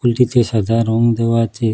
এটিতে সাদা রং দেওয়া আছে।